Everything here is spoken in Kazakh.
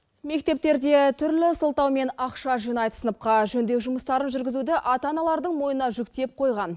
мектептерде түрлі сылтаумен ақша жинайды сыныпқа жөндеу жұмыстарын жүргізуді ата аналардың мойнына жүктеп қойған